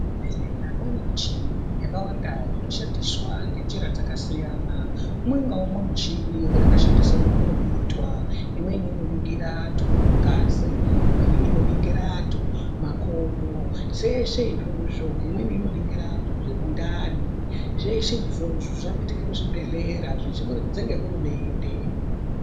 Kuzvibhedhlera kwaane michini yakawanda inoshandiswa ngenjira dzakasiyana. Umwengaumwe michini une mushandisirwe aunoitwa Imweni inoningira antu ngazi. Imweni inoningira antu makodo. Zveshe izvozvo, Imweni inoningira antu mundani. Zveshe izvozvo zvaakuitike muzvibhedhlera kubudikidza ngehurumende.